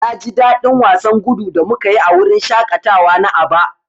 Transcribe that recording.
Na ji dadin wasan gudu da muka yi a wurin shaƙatawa na Aba.